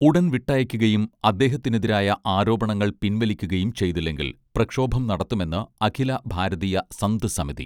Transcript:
ഉടൻ വിട്ടയയ്ക്കുകയും അദ്ദേഹത്തിനെതിരായ ആരോപണങ്ങൾ പിൻവലിക്കുകയും ചെയ്തില്ലെങ്കിൽ പ്രക്ഷോഭം നടത്തുമെന്ന് അഖില ഭാരതീയ സന്ത് സമിതി